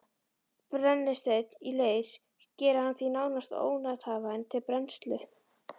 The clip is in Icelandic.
Brennisteinn í leir gerir hann því nánast ónothæfan til brennslu.